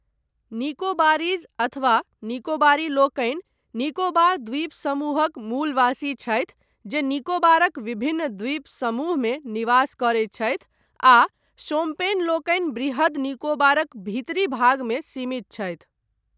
Nicobarese अथवा निकोबारी लोकनि निकोबार द्वीप समूहक मूलवासी छथि जे निकोबारक विभिन्न द्वीप समूहमे निवास करैत छथि आ शोम्पेन लोकनि वृहद् निकोबारक भीतरी भागमे सीमित छथि।